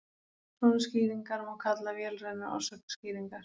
svona skýringar má kalla vélrænar orsakaskýringar